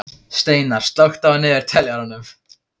Steinar, slökktu á niðurteljaranum.